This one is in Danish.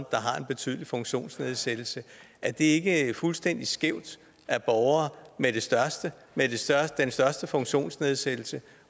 har en betydelig funktionsnedsættelse er det ikke fuldstændig skævt at borgere med de største største funktionsnedsættelser